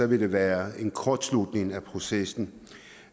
vil det være en kortslutning af processen